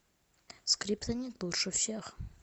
скриптонит лучше всех